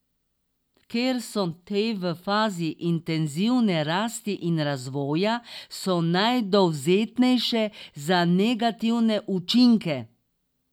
Ker so te v fazi intenzivne rasti in razvoja, so najdovzetnejše za negativne učinke.